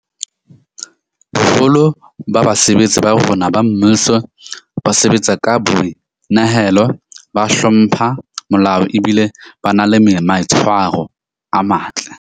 Boholo ba basebetsi ba rona ba mmuso ba sebatsa ka boi nehelo, ba hlompha molao ebile ba na le maitshwaro a matle.